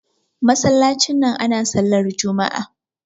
masallacin nan ana sallah Juma'a